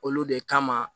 Olu de kama